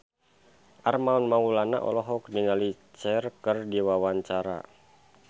Armand Maulana olohok ningali Cher keur diwawancara